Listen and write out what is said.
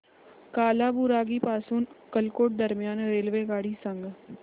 कालाबुरागी पासून अक्कलकोट दरम्यान रेल्वेगाडी सांगा